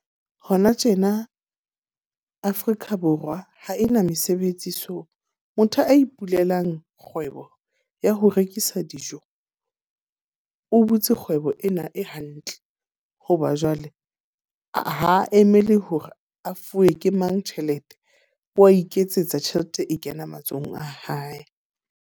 Hona tjena Afrika Borwa ha e na mesebetsi so motho a ipulelang kgwebo ya ho rekisa dijo, o butse kgwebo ena e hantle. Hoba jwale ha a emele hore a fuwe ke mang tjhelete. Wa iketsetsa tjhelete e kena matsohong a hae.